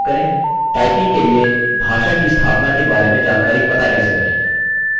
typing के लिए भाषा की स्थापना के बारे में जानकारी पता कैसे करें